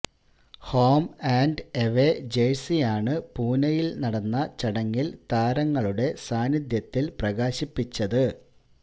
home and away ജേഴ്സിയാണ് പൂനെയില് നടന്ന ചടങ്ങില് താരങ്ങളുടെ സാന്നിധ്യത്തില് പ്രകാശിപ്പിച്ചത്